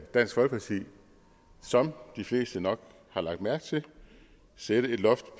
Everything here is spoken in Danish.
dansk folkeparti som de fleste nok har lagt mærke til sætte et loft